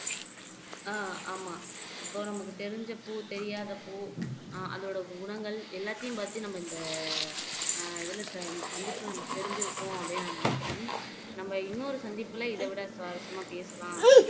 ஹம் ஆமா இப்போ நமக்கு தெரிஞ்ச பூ தெரியாத பூ அஹ் அதோட குணங்கள் எல்லாத்தையும் பத்தி நம்ம இந்த இதுல சந்தித்து தெரிஞ்சிருப்போம் அப்படின்னு நான் நினைக்கிறேன் நம்ம இன்னொரு சந்திப்புல இதைவிட சுவாரசியமா பேசலாம்